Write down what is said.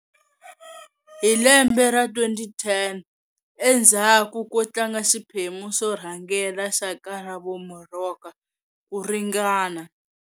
Hi lembe ra 2010, endzhaku ko tlanga xiphemu xo rhangela xa Karabo Moroka ku ringana.